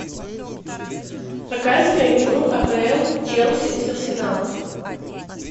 показывай игру апл челси с арсеналом